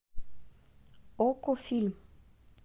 окко фильм